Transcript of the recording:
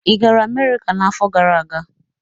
Ị gara Amerika n'afọ gara aga?